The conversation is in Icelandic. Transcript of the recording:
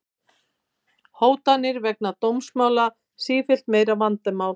Hótanir vegna dómsmála sífellt meira vandamál